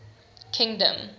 kingdom